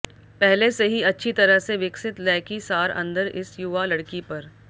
पहले से ही अच्छी तरह से विकसित लैकी सार अंदर इस युवा लड़की पर